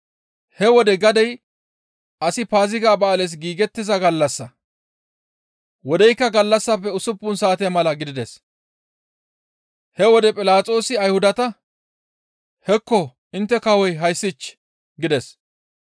He wode gadey asi Paaziga ba7aales giigettiza gallassa. Wodeykka gallassafe usuppun saate mala gidides; he wode Philaxoosi Ayhudata, «Hekko intte kawoy hayssich!» gides.